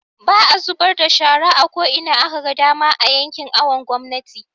baa zubarda da shara a ko'ina akaga dama a yankin awon gomnati